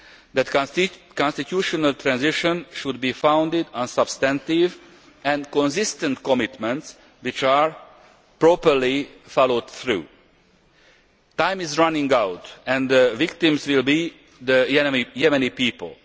delay. That constitutional transition should be founded on substantive and consistent commitments which are properly followed through. Time is running out and the victims will be the Yemeni